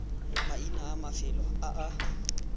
maina a mafelo a a